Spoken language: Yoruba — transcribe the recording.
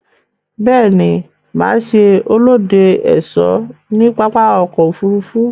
Béè ni, mà se olóde/ésó ní pápákò òfurufú